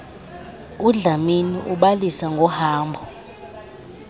udlamini ubalisa ngohambo